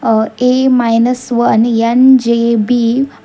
A minus one N J B --